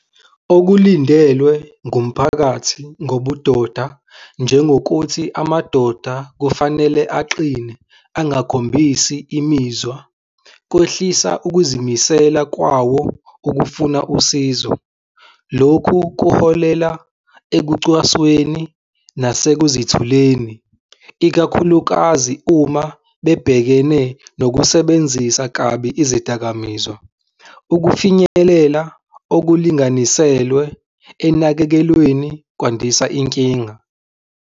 Okulindelwe ngumphakathi ngobudoda, njengokuthi amadoda kufanele aqine angakhombisi imizwa kwehlisa ukuzimisela kwawo ukufuna usizo. Lokhu kuholela ekucwasweni nase kuzithuleni, ikakhulukazi uma bebhekene nokusebenzisa kabi izidakamizwa. Ukufinyelela okulinganiselwe enakekelweni kwandisa inkinga.